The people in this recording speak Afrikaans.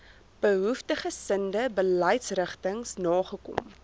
behoeftiggesinde beleidsrigtings nagekom